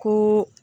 Ko